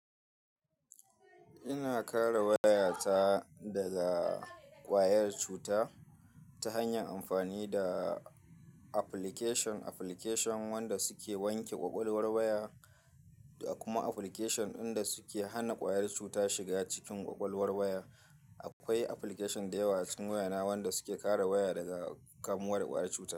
Ina kare waya ta daga ƙwayar cuta ta hanyar amfani da application. Application wanda suke wanke kwakwalwar waya da kuma application inda suke hana ƙwayar cuta shiga cikin kwakwalwar waya. Akwai application da yawa acikin waya na wanda suke kare waya daga kamuwar ƙwayar cuta.